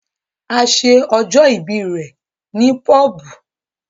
A ṣe ọjọ ìbí rẹ ní pobu